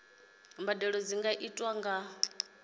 mbadelo dzi nga itwa nga